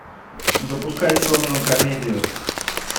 запускай черную комедию